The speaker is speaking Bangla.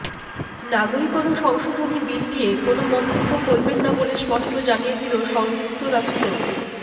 নাগরিকতা সংশোধনী বিল নিয়ে কোন মন্তব্য করবেনা বলে স্পষ্ট জানিয়ে দিলো সংযুক্ত রাষ্ট্র